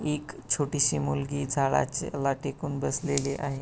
एक छोटीशी मुलगी झाडाचे ला टेकून बसलेली आहे.